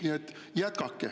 Nii et jätkake.